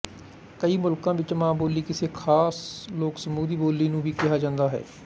ਕਈ ਮੁਲਕਾਂ ਵਿੱਚ ਮਾਂ ਬੋਲੀ ਕਿਸੇ ਖ਼ਾਸ ਲੋਕਸਮੂਹ ਦੀ ਬੋਲੀ ਨੂੰ ਵੀ ਕਿਹਾ ਜਾਂਦਾ ਹੈ